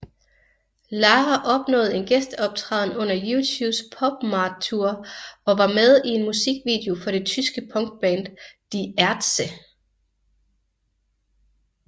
Lara opnåede en gæsteoptræden under U2s PopMart Tour og var med i en musikvideo for det tyske punkband Die Ärzte